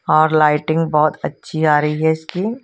और लाईटिंग बहोत अच्छी आ रही है इसकी--